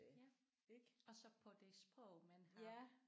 Ja og så på det sprog man har